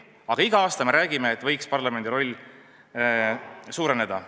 Aga iga aasta me räägime, et parlamendi roll võiks suureneda.